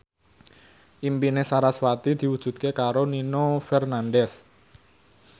impine sarasvati diwujudke karo Nino Fernandez